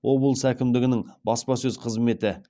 облыс әкімдігінің баспасөз қызметі